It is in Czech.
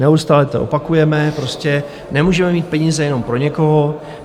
Neustále to opakujeme, prostě nemůžeme mít peníze jenom pro někoho.